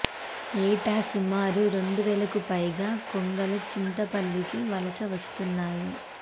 ఏటా సుమారు రెండు వేలకు పైగా కొంగలు చింతపల్లికి వలస వస్తుంటాయి